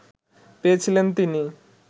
পেয়েছিলেন তিনি